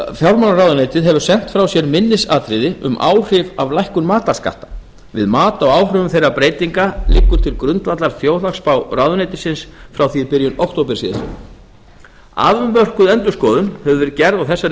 fjármálaráðuneytið hefur sent frá sér minnisatriði um áhrif af lækkun matarskatts við mat á áhrifum þeirra breytinga liggur til grundvallar þjóðhagsspá ráðuneytisins frá því í byrjun október síðastliðinn afmörkuð endurskoðun hefur verið gerð á þessari